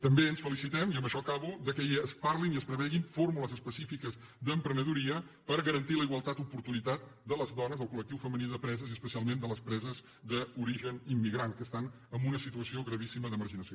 també ens felicitem i amb això acabo que es parlin i es prevegin fórmules específiques d’emprenedoria per garantir la igualtat d’oportunitat de les dones el collectiu femení de preses i especialment de les preses d’origen immigrant que estan en una situació gravíssima de marginació